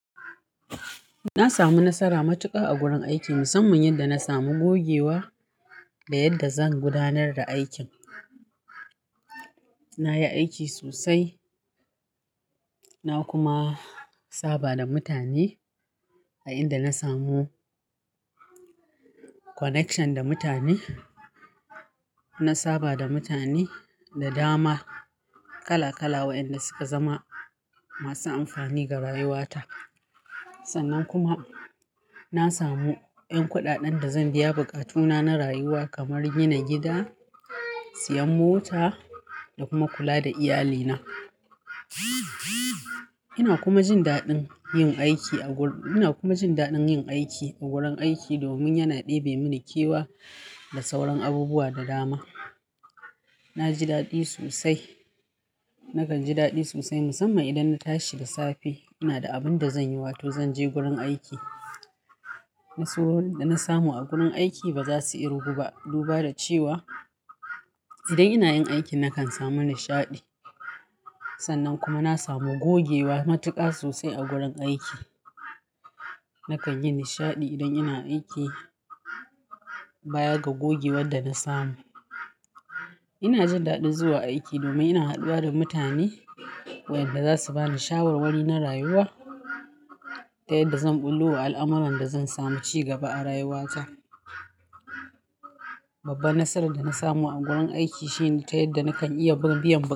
Na samu nasara matuƙa a gurin aiki, musamman yadda na samu gogewa da yadda zan gudanar da aikin. Na yi aiki sosai, na kuma saba da mutane a inda na samu connection da mutane. Na saba da mutane da dama kala kala waɗanda suka zama, masu amfani ga rayuwata. Sannan kuma, na samu ehn kuɗaɗen da zan biya buƙatuna, na rayuwa kamar gina gida, siyan mota, da kuma kula da iyalina. Ina kuma jin daɗin yin aiki a wurin-- ina kuma jin daɗin yin aiki a gurin aiki, domin yana ɗebe mini kewa, da sauran abubuwa da dama. Na ji daɗi sosai. Nakan ji daɗi sosai musamman idan na tashi da safe, ina da abin da zan yi wato zan je gurin aiki. Nasarorin da na samu a gurin aiki, ba za su irgu duba da cewa, idan ina yin aiki na kan samu nishaɗi. Sannan kuma na samu gogewa matuƙa sosai a gurin aiki. Nakan yi nishaɗi idan ina aiki, baya ga gogewan da na samu. Ina jin daɗi zuwa aiki domin ina haɗuwa da mutani, waɗanda za su ba ni shawarwari na rayuwa, ta yadda zan bullo al'amuran da zan samu ci gaba a rayuwata. Babban nasarar da na samu a gurin aiki shi ne ta yadda nakan iya biya.